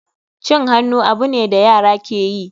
Cin hannu abu ne da yara ke yi.